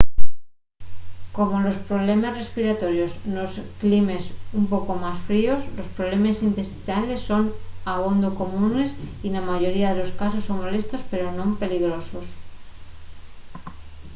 como los problemes respiratorios nos climes un poco más fríos los problemes intestinales son abondo comunes y na mayoría de casos son molestos pero non peligrosos